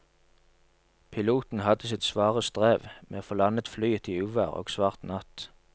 Piloten hadde sitt svare strev med å få landet flyet i uvær og svart natt.